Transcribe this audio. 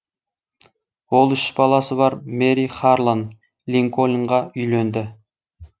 ол үш баласы бар мэри харлан линкольнға үйленді